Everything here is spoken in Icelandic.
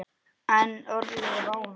En örlög ráða.